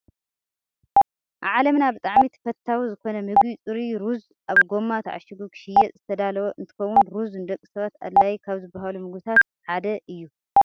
ኣብ ዓለምና ብጣዕሚ ተፈታዊ ዝኮነ ምግቢ ፅሩይ ሩዝ ኣብ ጎማ ታዓሺጉ ክሽየጥ ዝተዳለወ እንትከውን፣ ሩዝ ንደቂ ሰባት ኣድላይ ካብ ዝባሃሉ ምግብታት ሓደ እዩ።